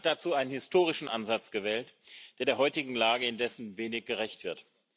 Er hat dazu einen historischen Ansatz gewählt, der der heutigen Lage indessen wenig gerecht wird.